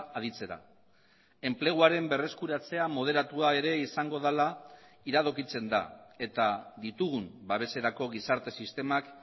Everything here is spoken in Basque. aditzera enpleguaren berreskuratzea moderatua ere izango dela iradokitzen da eta ditugun babeserako gizarte sistemak